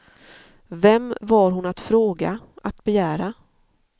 Vem var hon att fråga, att begära?